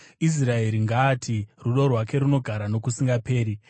Israeri ngaati, “Rudo rwake runogara nokusingaperi.”